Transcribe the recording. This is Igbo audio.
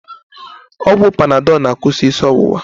Ọgwụ panadọl na-akwụsị isi ọwụwa